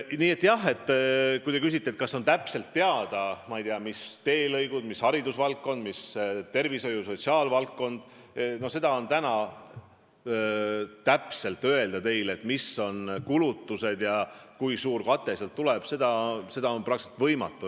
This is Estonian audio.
Nii et kui te küsite, kas valdkonnad on täpselt teada või, ma ei tea, mis teelõigud, mis haridusvaldkonna või tervishoiu- ja sotsiaalvaldkonna kulutused – täna täpselt öelda, mis kulutused kavas on ja kui suur kate sealt tuleb, on praktiliselt võimatu.